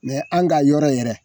an' ka yɔrɔ yɛrɛ